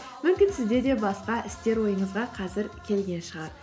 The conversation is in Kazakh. мүмкін сізде де басқа істер ойыңызға қазір келген шығар